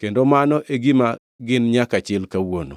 Kendo mano e gima gin nyaka chil kawuono.